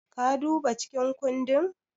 Ka duba cikin kundin?